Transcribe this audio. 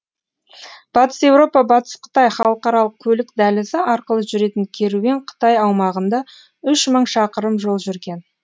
батыс еуропа батыс қытай халықаралық көлік дәлізі арқылы жүретін керуен қытай аумағында үш мың шақырым жол жүрген